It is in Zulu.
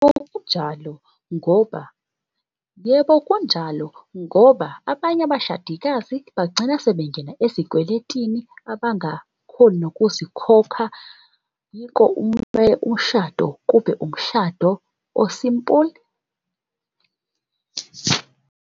Yebo kunjalo ngoba yebo kunjalo abanye abashadikazi bagcina sebengena ezikweletini abangakhoni nokuzikhokha. Yiko umshado kube umshado o-simple .